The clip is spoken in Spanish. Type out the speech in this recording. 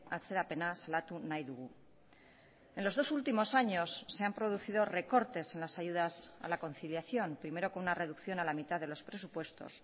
atzerapena salatu nahi dugu en los dos últimos años se han producido recortes en las ayudas a la conciliación primero con una reducción a la mitad de los presupuestos